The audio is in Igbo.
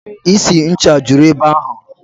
Isi ncha juru ebe ahụ.